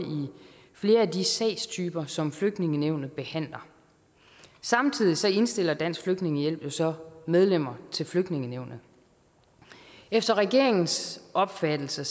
flere af de sagstyper som flygtningenævnet behandler samtidig indstiller dansk flygtningehjælp jo så medlemmer til flygtningenævnet efter regeringens opfattelse